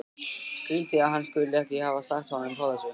Skrýtið að hann skuli ekki hafa sagt honum frá þessu.